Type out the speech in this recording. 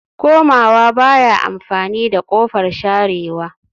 Komawa baya amfani da kofar sharewa